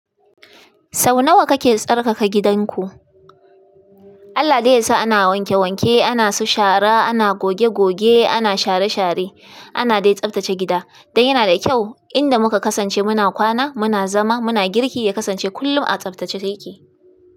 Sau nawa kake tsarkaka gidanku? Allah da ya sa ana wanke wanke, ana su share, ana goge goge, ana share share, ana dai tsabtace gida. Dan yana da kyau inda muka kasance muna kwana, muna zama, muna girki yakasance kullum a tsabtace yake.